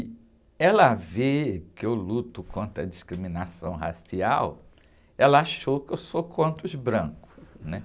E ela vê que eu luto contra a discriminação racial, ela achou que eu sou contra os brancos, né?